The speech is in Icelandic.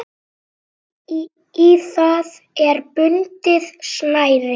Í það er bundið snæri.